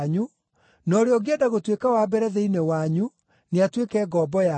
na ũrĩa ũngĩenda gũtuĩka wa mbere thĩinĩ wanyu nĩatuĩke ngombo yanyu,